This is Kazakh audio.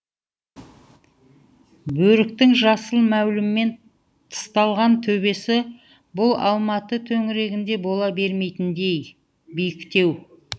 бөріктің жасыл мәуліммен тысталған төбесі бұл алматы төңірегінде бола бермейтіндей биіктеу